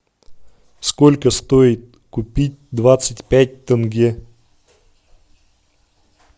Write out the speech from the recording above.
сколько стоит купить двадцать пять тенге